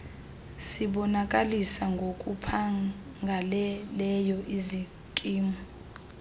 sibonakalisa ngokuphangaleleyo izikimu